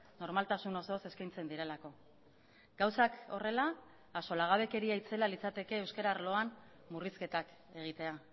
normaltasun osoz eskaintzen direlako gauzak horrela axolagabekeria itzela litzateke euskara arloan murrizketak egitea